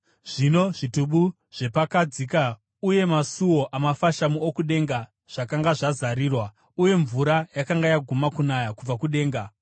Zvino zvitubu zvepakadzika uye masuo amafashamu okudenga zvakanga zvazarirwa, uye mvura yakanga yaguma kunaya kubva kudenga.